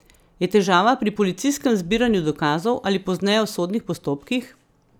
Je težava pri policijskem zbiranju dokazov ali pozneje v sodnih postopkih?